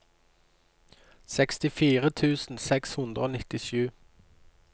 sekstifire tusen seks hundre og nittisju